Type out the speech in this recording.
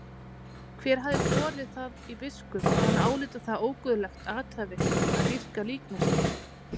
Hver hafði borið það í biskup að hann áliti það óguðlegt athæfi að dýrka líkneski?